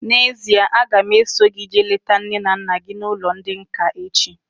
N'ezie, a ga m eso gị jee leta nne na nna gị n'ụlọ ndị nká echi